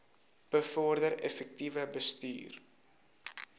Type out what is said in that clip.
bevorder effektiewe bestuur